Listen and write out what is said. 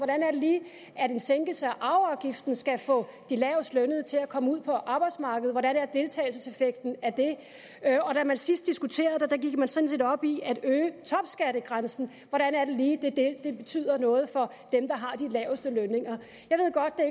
at en sænkelse af arveafgiften skal få de lavestlønnede til at komme ud på arbejdsmarkedet hvordan er deltagelseseffekten af det og da man sidst diskuterede det gik man sådan set op i at øge topskattegrænsen hvordan er det lige at det er det der betyder noget for dem der har de laveste lønninger